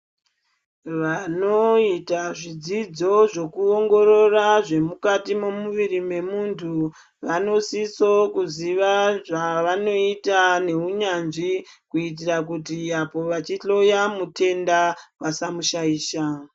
Vanoita zvidzidzo zvekuongorora zvemukati memuviri memundu vanosiso kuziva zvavanoita nehunyanzvi kuitira kuti apo vachihloya mutenda vasamushaisha.